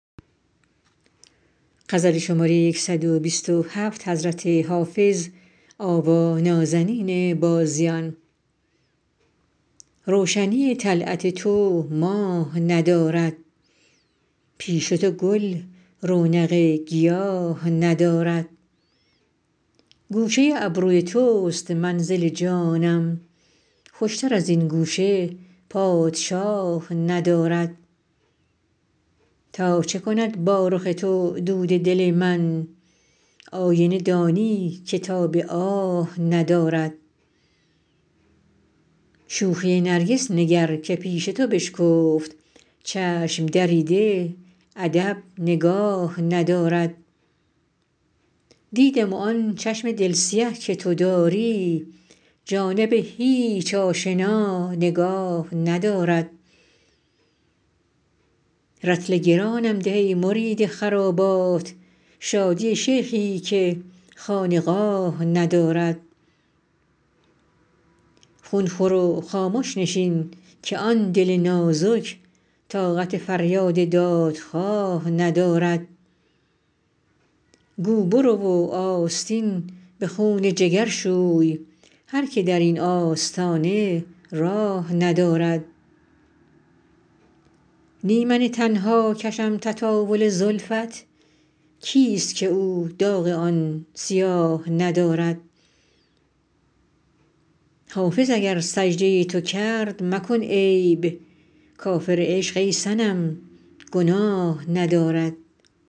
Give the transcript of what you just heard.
روشنی طلعت تو ماه ندارد پیش تو گل رونق گیاه ندارد گوشه ابروی توست منزل جانم خوشتر از این گوشه پادشاه ندارد تا چه کند با رخ تو دود دل من آینه دانی که تاب آه ندارد شوخی نرگس نگر که پیش تو بشکفت چشم دریده ادب نگاه ندارد دیدم و آن چشم دل سیه که تو داری جانب هیچ آشنا نگاه ندارد رطل گرانم ده ای مرید خرابات شادی شیخی که خانقاه ندارد خون خور و خامش نشین که آن دل نازک طاقت فریاد دادخواه ندارد گو برو و آستین به خون جگر شوی هر که در این آستانه راه ندارد نی من تنها کشم تطاول زلفت کیست که او داغ آن سیاه ندارد حافظ اگر سجده تو کرد مکن عیب کافر عشق ای صنم گناه ندارد